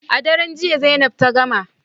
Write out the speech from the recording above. A daren jiya Zainab ta gama